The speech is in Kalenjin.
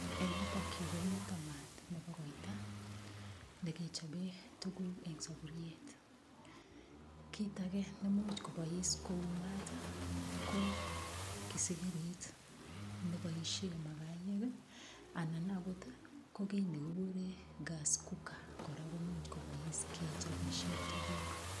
Eng yutokyu komi maat nebo koito, nekechope tukuk eng saburiet. Kit age nemuch kobois kou maat, ko kisigirit neboishe makayek anan akot ko kiy nekigure gas cooker kora komuch kobois kechobe tukuk.